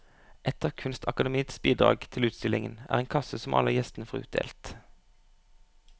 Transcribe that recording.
Et av kunstakademiets bidrag til utstillingen er en kasse som alle gjestene får utdelt.